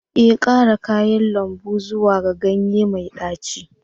Ee, ƙara kayan lambu zuwa ga ganye mai ɗaci